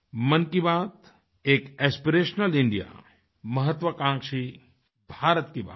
मन की बात एक एस्पिरेशनल इंडियामहत्वाकांक्षी भारत की बात है